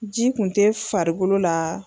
Ji kun tɛ farikolo la.